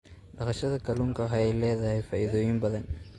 Dhaqashada kalluunka waxa ay leedahay faa'iidooyin badan.